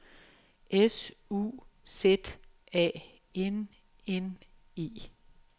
S U Z A N N E